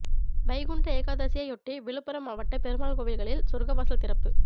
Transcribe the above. வைகுண்ட ஏகாதசியையொட்டி விழுப்புரம் மாவட்ட பெருமாள் கோவில்களில் சொர்க்கவாசல் திறப்பு